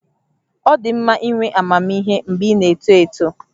Ọ dị mma inwe amamihe mgbe ị na-eto eto